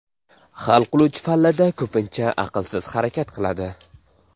Hal qiluvchi pallada ko‘pincha aqlsiz harakat qiladi.